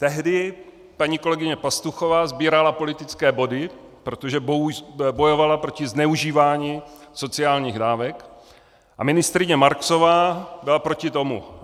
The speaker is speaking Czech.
Tehdy paní kolegyně Pastuchová sbírala politické body, protože bojovala proti zneužívání sociálních dávek, a ministryně Marksová byla proti tomu.